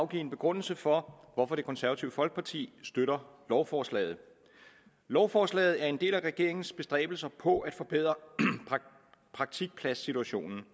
give en begrundelse for at det konservative folkeparti støtter lovforslaget lovforslaget er en del af regeringens bestræbelser på at forbedre praktikpladssituationen